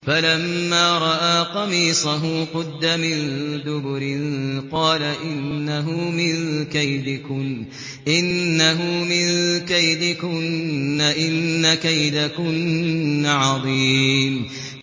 فَلَمَّا رَأَىٰ قَمِيصَهُ قُدَّ مِن دُبُرٍ قَالَ إِنَّهُ مِن كَيْدِكُنَّ ۖ إِنَّ كَيْدَكُنَّ عَظِيمٌ